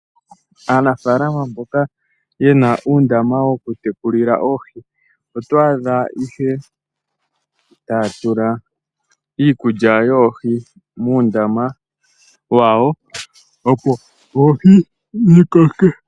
Aanafalama mboka yena uundama woku tekulila oohi otwadha ihe tatula iikulya yoohi muundama wawo opo oohi dhi koke .